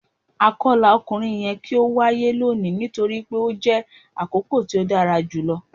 Akọla ọkunrin yẹ ki o waye loni nitori pe o jẹ akoko ti o dara julọ